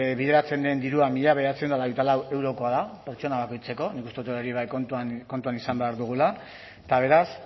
bideratzen den dirua mila bederatziehun eta hogeita lau eurokoa da pertsona bakoitzeko nik uste dut hori bai kontuan izan behar dugula eta beraz